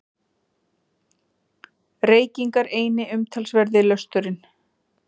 Reykingar eini umtalsverði lösturinn.